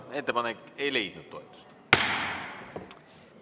Ettepanek ei leidnud toetust.